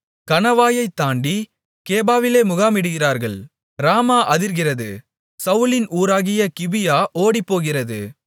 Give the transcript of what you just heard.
கணவாயைத் தாண்டி கேபாவிலே முகாமிடுகிறார்கள் ராமா அதிர்கிறது சவுலின் ஊராகிய கிபியா ஓடிப்போகிறது